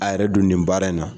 A yɛrɛ dun nin baara in na.